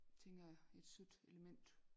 Tænker jeg et sødt element